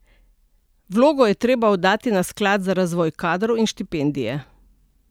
Vlogo je treba oddati na Sklad za razvoj kadrov in štipendije.